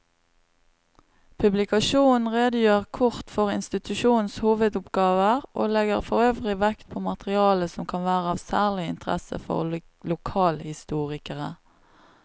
Publikasjonen redegjør kort for institusjonenes hovedoppgaver og legger forøvrig vekt på materiale som kan være av særlig interesse for lokalhistorikere.